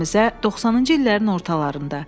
Məktəbimizə 90-cı illərin ortalarında.